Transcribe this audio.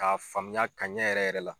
K'a faamuya ka ɲɛ yɛrɛ yɛrɛ la